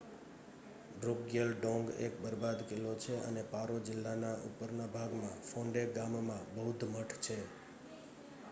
ડ્રુકગ્યલ ડોંગ એક બરબાદ કિલ્લો છે અને પારો જિલ્લાના ઉપરના ભાગમાં ફોન્ડે ગામમાં બૌદ્ધ મઠ છે